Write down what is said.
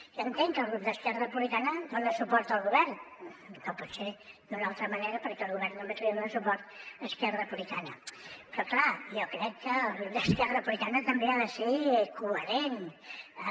jo entenc que el grup d’esquerra republicana dona suport al govern no pot ser d’una altra manera perquè al govern només li dona suport esquerra republicana però clar jo crec que el grup d’esquerra republicana també ha de ser coherent amb